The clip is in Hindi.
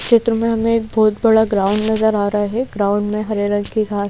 चित्र में हमें एक बहुत बड़ा ग्राउंड नजर आ रहा है ग्राउंड में हरे रंग की घास--